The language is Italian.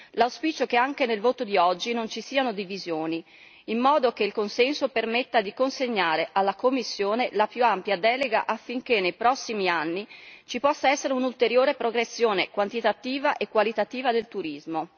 L'auspicio è che anche nel voto di oggi non ci siano divisioni, in modo che il consenso permetta di consegnare alla Commissione la più ampia delega affinché nei prossimi anni ci possa essere un'ulteriore progressione quantitativa e qualitativa del turismo.